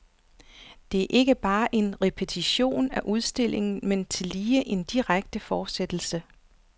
Det er ikke bare en repetition af udstillingen, men tillige en direkte fortsættelse.